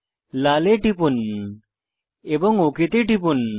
লাল এ টিপুন এবং ওক তে টিপুন